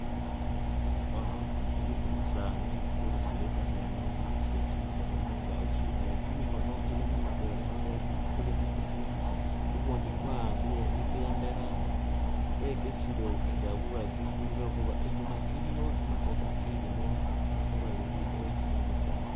Ono ili umusani wurusile kameno wasutile chimikhono mukachi ne chimikhono ilimo mutwela wale kulimo isimu ukundi kwa'ambile ipendela yokesile nga buwagisi lwekhuba inyuma iliyo imotoka ilimo bandu babili wuwekhasi ni'wesaani